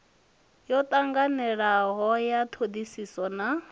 yo tanganelanaho ya thodisiso na